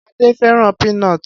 Ade fẹràn peanut